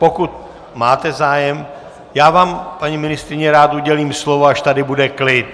Pokud máte zájem, já vám, paní ministryně, rád udělím slovo, až tady bude klid.